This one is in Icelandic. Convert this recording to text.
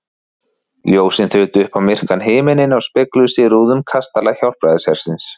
Ljósin þutu upp á myrkan himininn og spegluðust í rúðum kastala Hjálpræðishersins.